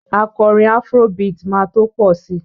Akọrin afro beat máa tó pọ̀ si